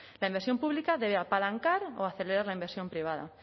la inversión pública debe apalancar o acelerar la inversión privada